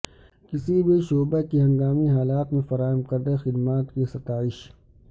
کسی بھی شعبہ کی ہنگامی حالات میں فراہم کردہ خدمات کی ستائش